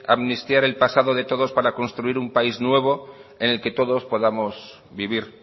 amnistiar el pasado de todos para construir un país nuevo en el que todos podamos vivir